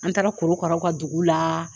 An taara korokaraw ka dugu la